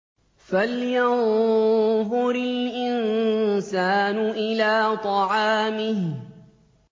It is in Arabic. فَلْيَنظُرِ الْإِنسَانُ إِلَىٰ طَعَامِهِ